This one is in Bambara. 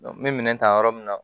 n bɛ minɛn ta yɔrɔ min na